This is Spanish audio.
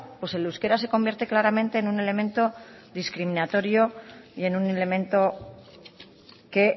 pues el euskera se convierte claramente en un elemento discriminatorio y en un elemento que